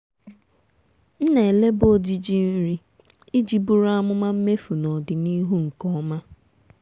m na-eleba ojiji nri iji buru amụma mmefu n'ọdịnihu nke ọma.